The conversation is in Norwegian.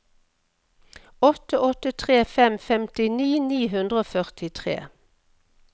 åtte åtte tre fem femtini ni hundre og førtitre